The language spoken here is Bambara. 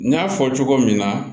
N y'a fɔ cogo min na